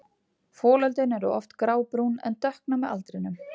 Folöldin eru oft grábrún en dökkna með aldrinum.